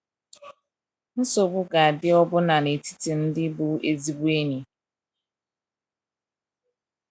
Nsogbu ga - adị ọbụna n’etiti ndị bụ ezigbo enyi.